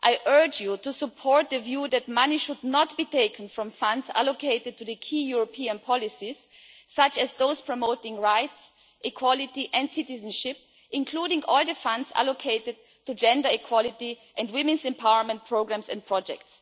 I urge you to support the view that money should not be taken from funds allocated to the key European policies, such as those promoting rights, equality and citizenship, including all the funds allocated to gender equality and women's empowerment programmes and projects.